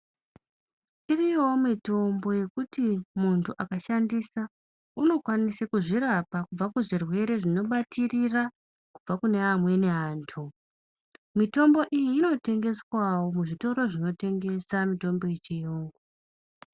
Iriyowo mitombo yekuti muntu akashandisa unokwanise kuzvirapa kubve kuzvirwere zvinobatirora kubva kune amweni antu, mitombo iyi inotengeswawo muzvitoro zvinotengesa mitombo yechiyungu.